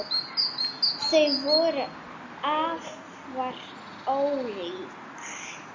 Þau voru afar ólík.